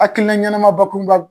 Akilina ɲɛnama bakurunba